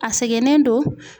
A sɛgɛnen don